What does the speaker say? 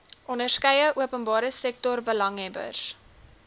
onderskeie openbare sektorbelanghebbers